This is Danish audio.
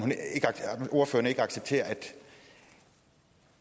ordføreren ikke accepterer